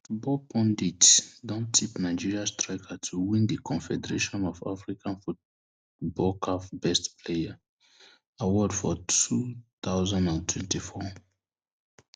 football pundits don tip nigeria striker to win di confederation of african football caf best player award for two thousand and twenty-four